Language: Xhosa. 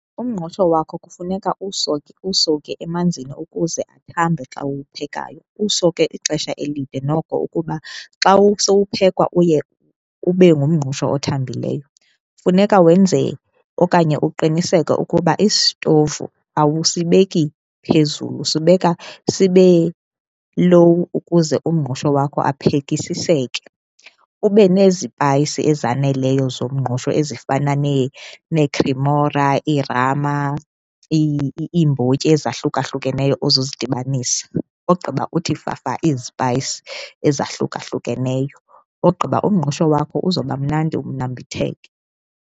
Umngqusho wakho kufuneka uwusowukhe emanzini ukuze athambe xa uwuphekayo, uwusowukhe ixesha elide noko ukuba xa usowuphekwa uye ube ngumngqusho othambileyo. Funeka wenze okanye uqiniseke ukuba isitovu awusibeki phezulu usibeka sibe-low ukuze umngqusho wakho aphekisiseke. Ube nezipayisi ezaneleyo zomngqusho ezifana neeCremora, iiRama, iimbotyi ezahlukahlukeneyo ozozidibanisa ogqiba uthi fafa izipayisi ezahlukahlukeneyo, ogqiba umngqusho wakho uzoba mnandi unambitheke.